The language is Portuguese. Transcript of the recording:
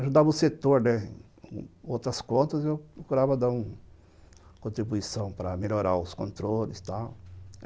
Ajudava o setor né com outras contas, eu procurava dar uma contribuição para melhorar os controles, tal.